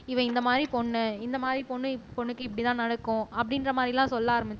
இவன் இந்த மாதிரி பொண்ணு இந்த மாதிரி பொண்ணு பொண்ணுக்கு இப்படித்தான் நடக்கும் அப்படின்ற மாதிரி எல்லாம் சொல்ல ஆரம்பிச்சிடுவாங்க